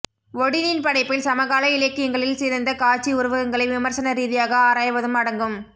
ஒடினின் படைப்பில் சமகால இலக்கியங்களில் சிதைந்த காட்சி உருவகங்களை விமர்சன ரீதியாக ஆராய்வதும் அடங்கும்